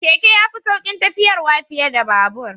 Keke ya fi saukin tafiyarwa fiye da babur